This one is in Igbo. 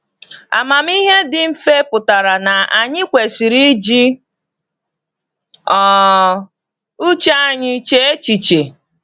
Amamihe dị mfe pụtara na anyị kwesịrị iji um uche anyị chee echiche.